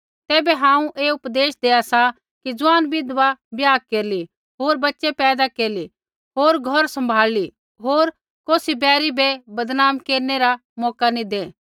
तैबै हांऊँ ऐ उपदेश देआ सा कि ज़ुआन विधवा ब्याह केरली होर बच़ै पैदा केरली होर घौर सम्भाल़ली होर कौसी बैरी बै बदनाम केरनै रा मौका नी दै